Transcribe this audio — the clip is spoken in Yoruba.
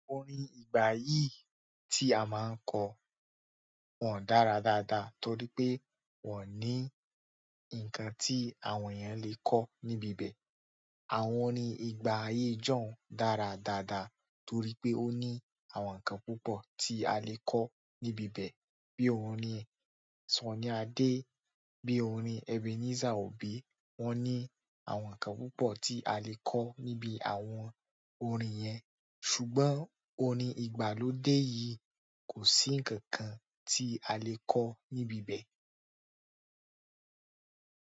Orin ìgbà yìí tí a máa ń kọ wọ́n dára dáadáa torí pé wọ́n o ní ǹkan tí àwọn eeyan lè kọ́ níbi ibẹ̀. Àwọn orin ìgbà ayé John dára dáadáa torí pé ó ní àwọn ǹkan púpọ̀ tí a lè kọ́ níbi ibẹ̀ bíi orin Sunny Adé, bíi orin Ebenezer Obey. Wọ́n ní àwọn ǹkan púpọ̀ tí a lè kọ́ níbi àwọn orin yẹn. Ṣùgbọ́n orin ìgbàlódé yìí kò sí ǹkankan tí a lè kọ́ níbi ibẹ̀.